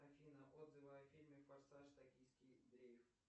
афина отзывы о фильме форсаж токийский дрифт